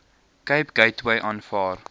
cape gateway aanvaar